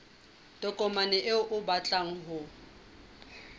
tokomane eo o batlang ho